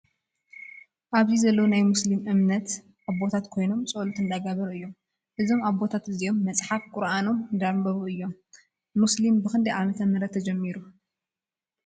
ኣብዚ ዘለው ናይ ሞስሊም እምነት ኣቦታት ኮይኖም ፆሎት እንዳገበሩ እዮም። እዞም ኣቦታት እዚኦም መፅሓፍ ቁርኣኖም እንዳኣንበቡ እዮም። ሞስሊም ብክንደይ ዓመተ ምህረት ተጀሚሩ ?